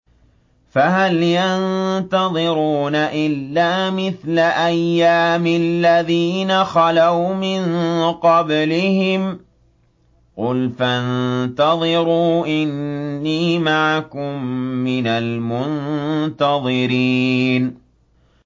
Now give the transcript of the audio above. فَهَلْ يَنتَظِرُونَ إِلَّا مِثْلَ أَيَّامِ الَّذِينَ خَلَوْا مِن قَبْلِهِمْ ۚ قُلْ فَانتَظِرُوا إِنِّي مَعَكُم مِّنَ الْمُنتَظِرِينَ